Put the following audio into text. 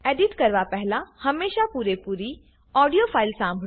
edit કરવા પહેલા હમેશા પુરેપુરી ઓડીયો ફાઈલ સાંભળો